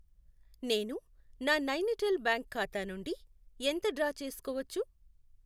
నేను నా నైనిటాల్ బ్యాంక్ ఖాతా నుండి ఎంత డ్రా చేసుకోవచ్చు?